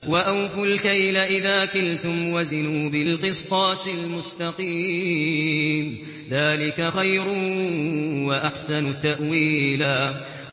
وَأَوْفُوا الْكَيْلَ إِذَا كِلْتُمْ وَزِنُوا بِالْقِسْطَاسِ الْمُسْتَقِيمِ ۚ ذَٰلِكَ خَيْرٌ وَأَحْسَنُ تَأْوِيلًا